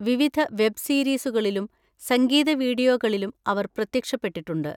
വിവിധ വെബ് സീരീസുകളിലും സംഗീത വീഡിയോകളിലും അവർ പ്രത്യക്ഷപ്പെട്ടിട്ടുണ്ട്.